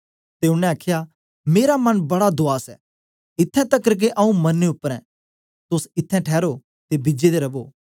ते ओनें आखया मेरा मन बड़ा दूआस ऐ इत्थैं तकर के आऊँ मरने उपर आं तोस इत्थैं ठैरो ते बिजे दे रवो